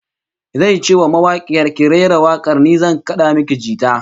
Zai ce wa mawakiyar, "Ki rera wak'ar, ni zan kad'a miki jita".